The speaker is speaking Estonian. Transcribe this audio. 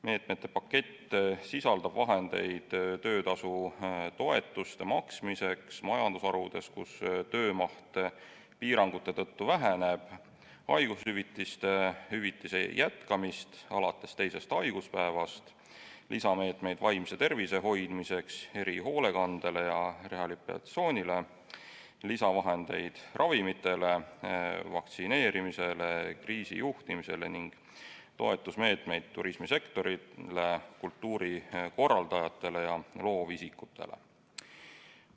Meetmete pakett sisaldab vahendeid töötasu toetuste maksmiseks majandusharudes, kus töömaht piirangute tõttu väheneb, haiguspäevade hüvitise maksmise jätkamist alates teisest haiguspäevast, lisameetmeid vaimse tervise hoidmiseks, erihoolekandele ja rehabilitatsioonile, lisavahendeid ravimitele, vaktsineerimisele ja kriisijuhtimisele ning toetusmeetmeid turismisektorile, kultuurikorraldajatele ja loovisikutele.